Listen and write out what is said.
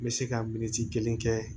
N bɛ se ka min kelen kɛ